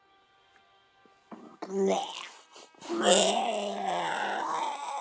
En þekkir hún eitthvað til í fótboltanum á Selfossi?